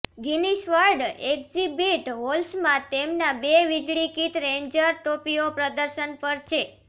Guinness world exhibit હોલ્સમાં તેમના બે વીજળીકિત રેન્જર ટોપીઓ પ્રદર્શન પર છે